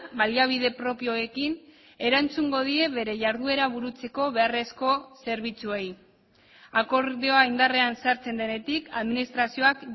baliabide propioekin erantzungo die bere jarduera burutzeko beharrezko zerbitzuei akordioa indarrean sartzen denetik administrazioak